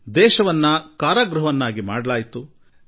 ಇಡೀ ದೇಶವನ್ನು ಸೆರೆಮನೆಯನ್ನಾಗಿ ಮಾಡಲಾಗಿತ್ತು